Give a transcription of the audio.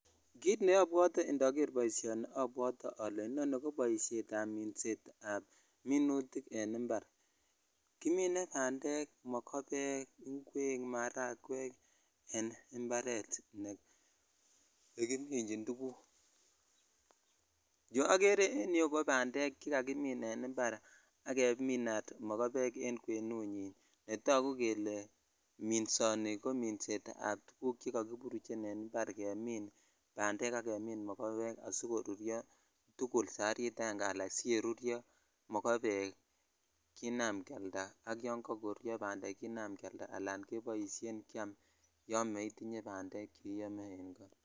Kit neobwotee indoger boisionni inoni koboshet ab minet ab minutik en impar kimine bandek , migobe maragwek en Imparet nekimichin tuguk. Chu okere en yu ko bandek chekimin en impar ak kemin mogobek en kwenunyin netoku kele minsoni ko minset ab tuguk chekakiburuchen en impar jenim bandek ak kemin mogobek asikoruryo tukul sabarit aenge ala siyeruryo mogobekina iyam ak yan kakoruryo bandek kina kealda al keboisien kyiam yo neitinye bandek cheiyome.